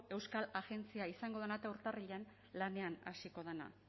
euskal agentzia izango dena eta urtarrilean lanean hasiko dena